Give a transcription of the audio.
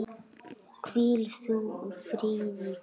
Hvíl þú í friði frændi.